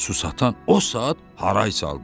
Su satan o saat haray saldı.